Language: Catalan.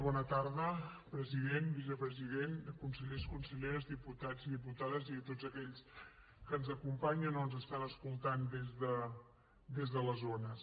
bona tarda president vicepresident consellers conselleres diputats i diputades i a tots aquells que ens acompanyen o ens estan escoltant des de les ones